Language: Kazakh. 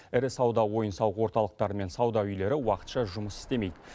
ірі сауда ойын сауық орталықтары мен сауда үйлері уақытша жұмыс істемейді